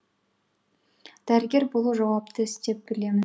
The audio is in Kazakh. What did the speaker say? дәрігер болу жауапты іс деп білемін